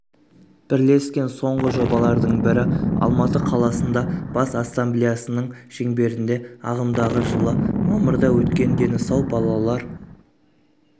бірлескен соңғы жобалардың бірі алматы қаласында бас ассемблеясының шеңберінде ағымдағы жылы мамырда өткен дені сау балалар